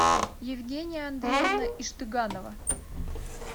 евгения андреевна иштыганова